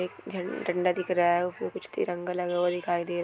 एक झंड झंडा दिख रहा है उसमे कुछ तिरंगा लगा हुआ दिखाई दे रहा--